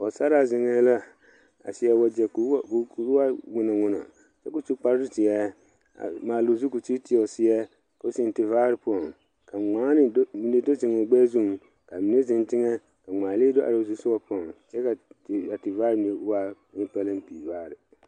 Pɔgesera zeŋ la a seɛ wagye koo waa mɔno mɔno kyɛ ko su kpare ziɛ maale zu ko sige tɔ o seɛ koo zeŋ te vaare zu ka ŋmaane kaa mine zeŋ teŋa ka ŋmaane lee do are o zu soga ka te vaare mine waa ne palanpiire vaare.